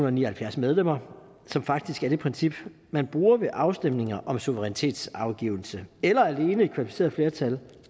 og ni og halvfjerds medlemmer som faktisk er det princip man bruger ved afstemninger om suverænitetsafgivelse eller alene et kvalificeret flertal